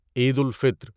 عید الفطر